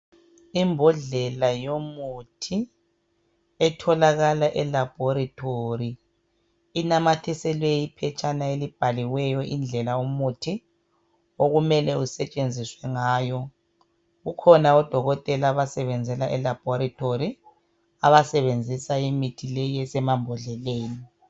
Imbodlela yomuthi etholakala elabhorethori inamathiselwe iphetshana elibhaliweyo indlela umuthi okumele usetshenziswe ngayo. Kukhona oDokotela abasebenzela elabhorethori abasebenzisa imithi leyi esemambodleleni.